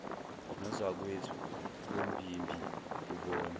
nozakwethu bombimbi kubona